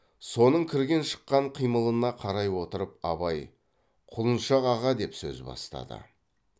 соның кірген шыққан қимылына қарай отырып абай құлыншақ аға деп сөз бастады